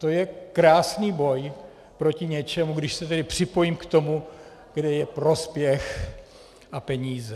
To je krásný boj proti něčemu, když se tedy připojím k tomu, kde je prospěch a peníze.